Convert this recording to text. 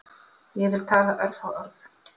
Ég vil tala örfá orð